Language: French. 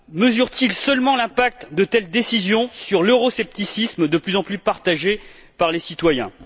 Mesurent ils seulement l'impact de telles décisions sur l'euroscepticisme de plus en plus partagé par les citoyens?